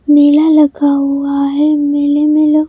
मेला लगा लगा है मेले में लग--